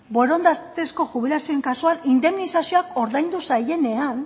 borondatezko jubilazioen kasuan indemnizazioak ordaindu zaienean